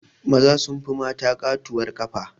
Maza sun fi mata ƙatuwar ƙafa